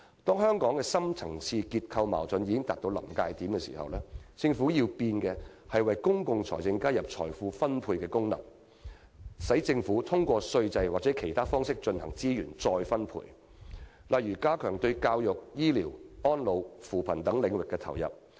當香港的深層次結構矛盾已達臨界點時，政府要改變的，是為公共財政加入財富分配功能，讓政府通過稅制或其他方式進行資源再分配，例如加強對教育、醫療、安老、扶貧等領域的投入。